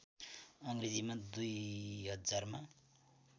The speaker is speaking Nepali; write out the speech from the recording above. अङ्ग्रेजीमा २००० मा